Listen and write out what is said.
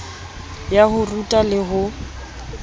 ya ho ruta le ho